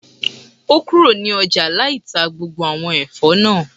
O kúrò ní ọjà lai tá gbogbo àwọn Ẹ̀fọ́ náà